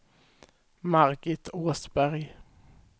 Margit Åsberg